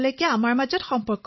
তৰন্নুম খানঃ হয় মহাশয়